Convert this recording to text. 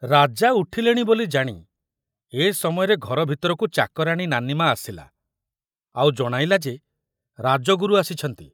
ରାଜା ଉଠିଲେଣି ବୋଲି ଜାଣି ଏ ସମୟରେ ଘର ଭିତରକୁ ଚାକରାଣୀ ନାନିମା ଆସିଲା ଆଉ ଜଣାଇଲା ଯେ ରାଜଗୁରୁ ଆସିଛନ୍ତି।